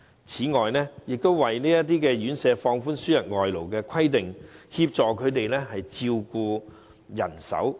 此外，當局為這些院舍放寬輸入外勞的規定，協助他們增加照顧人手。